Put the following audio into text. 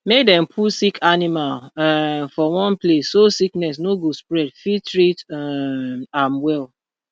make dem put sick animal um for one place so sickness no go spread fit treat um am well